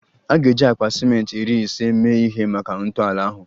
A ga-eji akpa ciment iri ise mee ihe maka ntọala ahụ